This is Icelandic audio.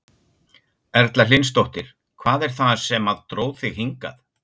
Erla Hlynsdóttir: Hvað er það sem að dró þig hingað?